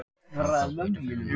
Hákarl beit ferðamann í Mexíkó